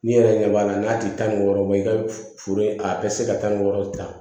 Min yɛrɛ ɲɛ b'a la n'a tɛ taa ni wɔɔrɔ bɔ ye i ka foro a bɛ se ka taa ni wɔɔrɔ ta